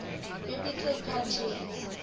biblical patriarchs